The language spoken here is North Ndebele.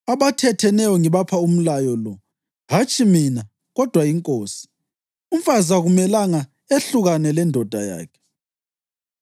Abathatheneyo ngibapha umlayo lo (hatshi mina, kodwa iNkosi): Umfazi akumelanga ehlukane lendoda yakhe.